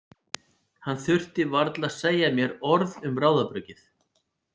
Hann þurfti varla að segja mér orð um ráðabruggið.